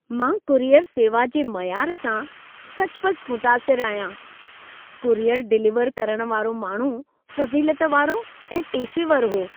मां कुरियर सेवा जे मयारु सां सचुपचु मुतासिरु आहियां। कुरियर डिलीवर करणु वारो माण्हू फज़ीलत वारो ऐं पेशेवर हो।